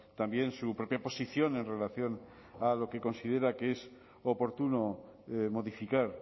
también su propia posición en relación a lo que considera que es oportuno modificar